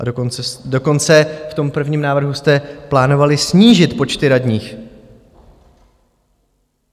A dokonce v tom prvním návrhu jste plánovali snížit počty radních.